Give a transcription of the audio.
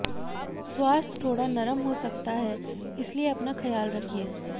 स्वास्थ्य थोडा नरम हो सकता है इसलिए अपना ख्याल रखिये